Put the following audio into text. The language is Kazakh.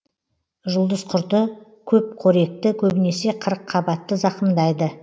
жұлдызқұрты көпқоректі көбінесе қырыққабатты зақымдайды